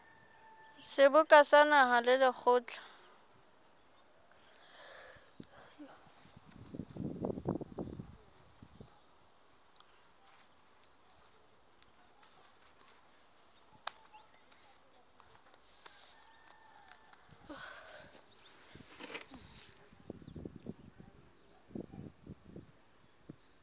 seboka sa naha le lekgotla